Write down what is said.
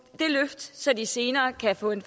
det løft så de senere kan få en